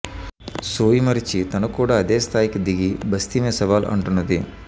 సోయి మరిచి తను కూడా అదే స్థాయికి దిగి బస్తీమే సవాల్ అంటున్నది